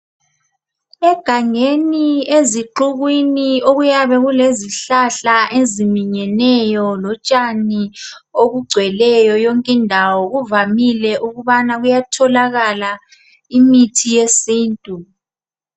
Egangeni ezixukwini okuyabe kulezihlahla eziminyeneyo lotshani obugcweleyo yonke indawo. Kuvamile ukubana kuyatholakala imithi yesintu.